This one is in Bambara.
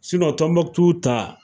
Tɔnbɔkutu ta .